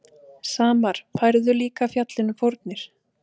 Samar færðu líka fjallinu fórnir.